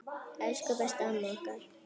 Elsku besta amma okkar.